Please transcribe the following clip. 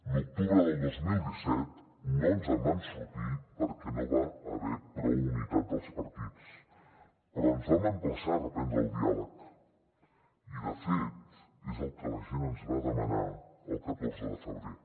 l’octubre del dos mil disset no ens en vam sortir perquè no hi va haver prou unitat dels partits però ens vam emplaçar a reprendre el diàleg i de fet és el que la gent ens va demanar el catorze de febrer